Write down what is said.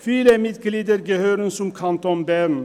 Viele Mitglieder gehören zum Kanton Bern.